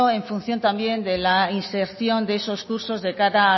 en función también de la inserción de esos cursos de cara a